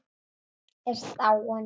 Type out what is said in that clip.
Björk er dáin.